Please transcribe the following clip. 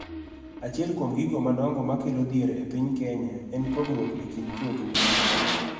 Achiel kuom gigo madongo ma kelo dhier e piny Kenya en pogruok e kind chwo gi mon.